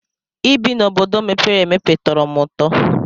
Ị bi n'obodo mepere emepe tọrọ m ụtọ.